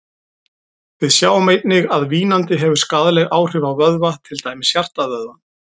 Við sjáum einnig að vínandi hefur skaðleg áhrif á vöðva, til dæmis hjartavöðvann.